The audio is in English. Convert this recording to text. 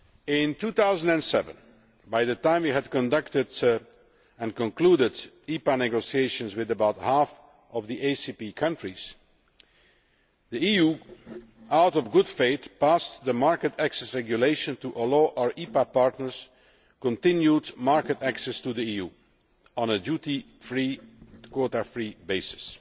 In 2007, by the time we had conducted and concluded EPA negotiations with about half of the ACP countries, the EU, acting in good faith, passed the Market Access Regulation to allow our EPA partners continued market access to the EU on a duty free, quota free basis.